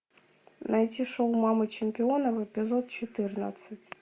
найти шоу мамы чемпионов эпизод четырнадцать